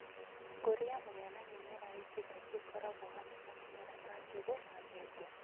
Gũkũria mũhĩa na mĩmera ĩngĩ kaingĩ ĩkoragwo hamwe na mĩmera ta njũgũ na ndengũ